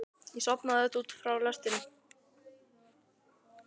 Ég sofnaði auðvitað út frá lestrinum.